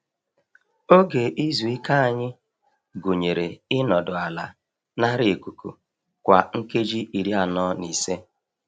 Oge izu ike anyị gụnyere i nọdụ ala nara ikuku kwa nkeji iri anọ na ise.